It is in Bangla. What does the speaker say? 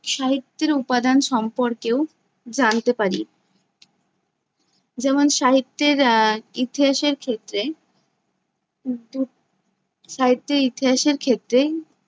সাহিত্যেরও উপাদান সম্পর্কেও জানতে পারি। যেমন সাহিত্যের আহ ইতিহাসের ক্ষেত্রে সাহিত্যের ইতিহাসের ক্ষেত্রে